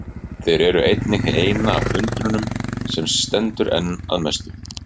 Þeir eru einnig hið eina af undrunum sem stendur enn að mestu.